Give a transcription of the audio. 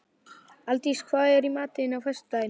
Aldís, hvað er í matinn á föstudaginn?